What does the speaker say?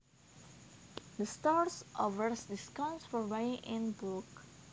The store offers discounts for buying in bulk